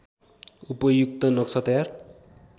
उपयुक्त नक्सा तयार